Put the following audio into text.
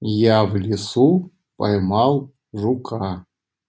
я в лесу поймал жука